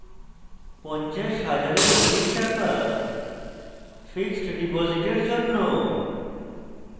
50 000 for অধিক টাকা fixed ডিপোজিটের জন্য